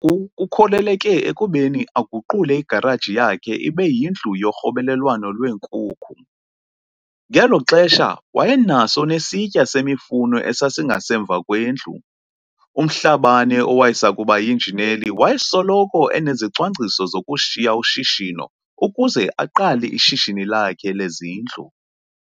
Oku kukholeleke ekubeni aguqule igaraji yakhe ibe yindlu yorhobelewano lweenkukhu. Ngelo xesha wayenaso nesitya semifuno esasingasemva kwendlu. UMhlabane, owayesakuba yinjineli, wayesoloko enezicwangciso zokushiya ushishino ukuze aqale ishishini lakhe lezindlu.